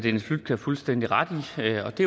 det